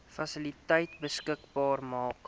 fasiliteite beskikbaar maak